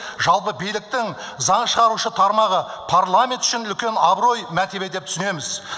жалпы биліктің заң шығарушы тармағы парламент үшін үлкен абырой мәртебе деп түсінеміз